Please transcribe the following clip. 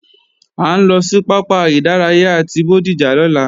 À ń lọ sí pápá ìdárayá ti Bódìjà lọ́la